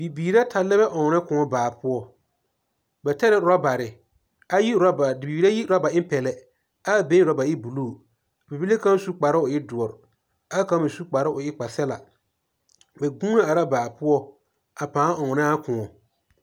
Bibiiri ata lɛ bɛ ɔnnɔ kõɔ baa poɔ. Ba tɛre orɔbare, ayi orɔbare bibiir ayi orɔba en pɛlɛ ɛ a been orɔba e buluu. Bibile kaŋ su kparoo o e doɔre. ɛ a kaŋ me su kparoo o e kpasɛbla.bɛ gũũ na are a baa poɔ ɛ pãã ɔnnɔ a kõɔ.